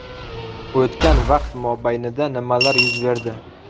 O‘tgan vaqt mobaynida nimalar yuz berdi?